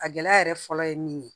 A gɛlɛya yɛrɛ fɔlɔ ye min ye